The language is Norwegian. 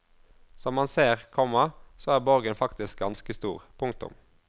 Som man ser, komma så er borgen faktisk ganske stor. punktum